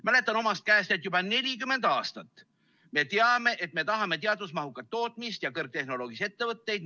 Mäletan omast käest, et juba 40 aastat me oleme teadnud, et me tahame teadusmahukat tootmist ja kõrgtehnoloogilisi ettevõtteid.